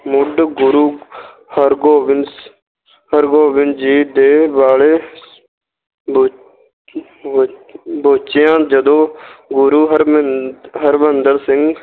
ਮੁੱਢ ਗੁਰੂ ਹਰਿਗੋਬਿੰਦ ਹਰਿਗੋਬਿੰਦ ਜੀ ਦੇ ਵੇਲੇ ਬ~ ਬ~ ਬੱਝਿਆ ਜਦੋਂ ਗੁਰੂ ਹਰਿੰਮੰਦਰ ਸਿੰਘ